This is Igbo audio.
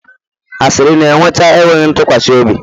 Asịrị na-eweta enweghị ntụkwasị obi